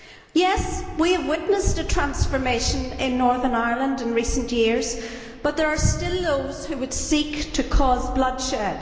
Yes, we have witnessed a transformation in Northern Ireland in recent years, but there are still those who would seek to cause bloodshed.